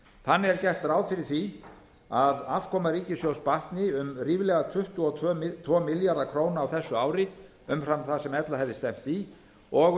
þannig er gert ráð fyrir að afkoma ríkissjóðs batni um ríflega tuttugu og tvo milljarða króna á þessu ári umfram það sem ella hefði stefnt í og